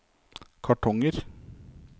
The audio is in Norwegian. kartonger